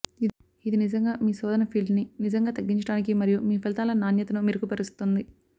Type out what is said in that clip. ఇది నిజంగా మీ శోధన ఫీల్డ్ని నిజంగా తగ్గించడానికి మరియు మీ ఫలితాల నాణ్యతను మెరుగుపరుస్తుంది